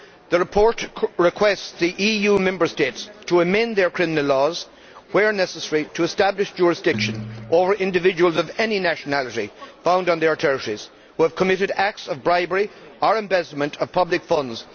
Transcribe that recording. The report requests the EU Member States to amend their criminal laws, where necessary, to establish jurisdiction over individuals of any nationality found on their territories who have committed acts of bribery or embezzlement of public funds.